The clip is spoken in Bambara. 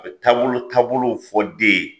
A taabolo taabolow fɔ den ye